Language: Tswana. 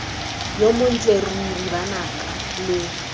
yo montle ruri banaka lo